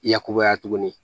I yakubaya tuguni